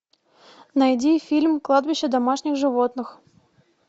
найди фильм кладбище домашних животных